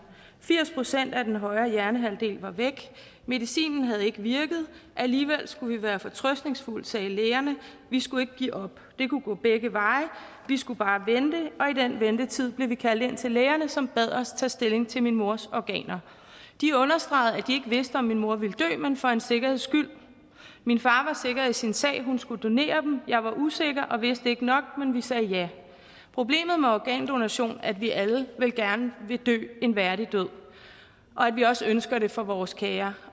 firs procent af den højre hjernehalvdel var væk medicinen havde ikke virket alligevel skulle vi være fortrøstningsfulde sagde lægerne vi skulle ikke give op det kunne gå begge veje vi skulle bare vente i den ventetid blev vi kaldt ind til lægerne som bad os tage stilling til min mors organer de understregede at de vidste om min mor ville dø men for en sikkerheds skyld min far var sikker i sin sag hun skulle donere dem jeg var usikker og vidste ikke nok men vi sagde ja problemet med organdonation er at vi alle vel gerne vil dø en værdig død og at vi også ønsker det for vores kære